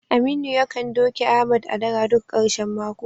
Aminu yakan doke Ahmad a dara duk karshen mako.